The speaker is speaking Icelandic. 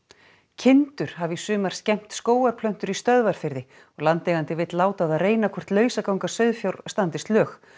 kindur hafa í sumar skemmt skógarplöntur í Stöðvarfirði og landeigandi vill láta á það reyna hvort lausaganga sauðfjár standist lög